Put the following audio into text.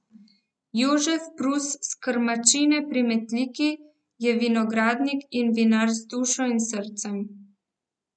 Jožef Prus s Krmačine pri Metliki je vinogradnik in vinar z dušo in srcem.